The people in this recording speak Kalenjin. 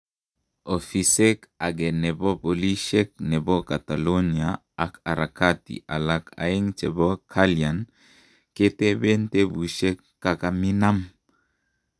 Ofisek age nepo polishek nepo catalonia ak harakati alak aegn chepo kalian ketepen tepushek kakaminam